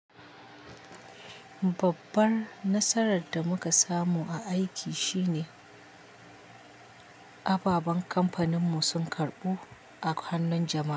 Babbar nasarar da muka samu a aiki shine ababen kamfanin mu sun karɓu a hannun jama'a.